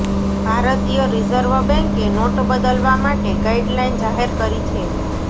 ભારતીય રિઝર્વ બેંકે નોટ બદલવા માટે ગાઈડલાઈન જાહેર કરી છે